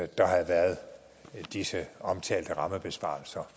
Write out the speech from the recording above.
der havde været disse omtalte rammebesparelser